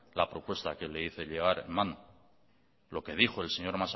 la propuesta que le hice llegar en mano lo que dijo el señor